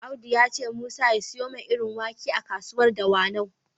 Audu ya ce Musa ya siyo mai irin wake a kasuwar Dawanau.